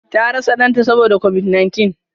Ta rasa Dan ta Saboda covid-19.